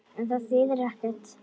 En það þýðir ekkert.